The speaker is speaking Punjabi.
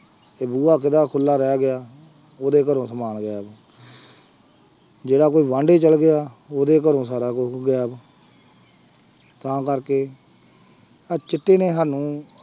ਕਿ ਬੂਹਾ ਕਿਹਦਾ ਖੁੱਲਾ ਰਹਿ ਗਿਆ, ਉਹਦੇ ਘਰੋਂ ਸਮਾਨ ਗਾਇਬ ਜਿਹੜਾ ਕੋਈ ਚਲੇ ਗਿਆ ਉਹਦੇ ਘਰੋਂ ਸਾਰਾ ਕੁਛ ਗਾਇਬ ਤਾਂ ਕਰਕੇ, ਆਹ ਚਿੱਟੇ ਨੇ ਸਾਨੂੰ